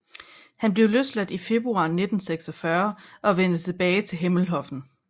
Han blev løsladt i februar 1946 og vendte tilbage til Hemmenhofen